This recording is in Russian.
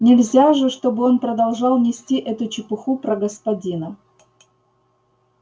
нельзя же чтобы он продолжал нести эту чепуху про господина